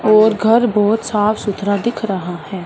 और घर बहुत साफ सुथरा दिख रहा है।